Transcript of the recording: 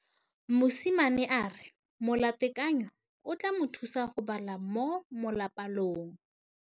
Mosimane a re molatekanyô o tla mo thusa go bala mo molapalong.